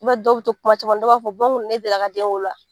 I ma ye dɔw be to kuma caman na, dɔw b'a fɔ bɔ n kuna ne deli la ka den wolo wa?